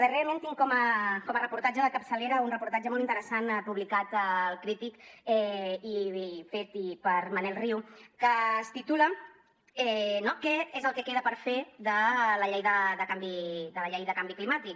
darrerament tinc com a reportatge de capçalera un reportatge molt interessant publicat per crític i fet per manel riu que es titula què és el que queda per fer de la llei de canvi climàtic